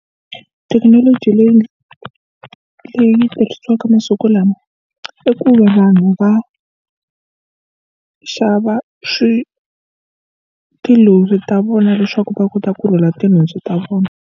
Thekinoloji leyi leyi tirhisiwaka masiku lama i ku vanhu va xava swi tilori ta vona leswaku va kota ku rhwala tinhundzu ta vona.